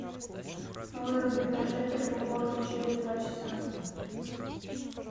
выруби прожектор в уборной через два часа